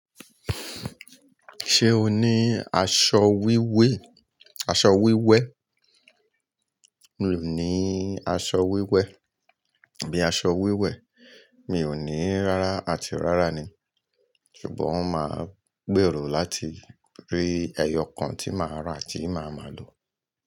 Ṣé o ní aṣọ wíwé, aṣọ wíwẹ́? Mi ò ní aṣọ wíwẹ́, bí i aṣọ wíwẹ̀, mi ò ní rárá àti rárá ni. Ṣùgbọ́n máa gbèrò láti rí ẹyọ kan tí màá rà tí màá máa lò.